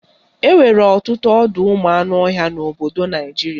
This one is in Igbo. Enwere ọtụtụ ọdọụmụanụọhịa n'obodo Naijiria